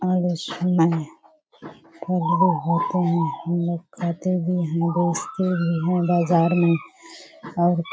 और बहुत सुंदर है हम लोग खाते भी है बेचते भी है बजार में और --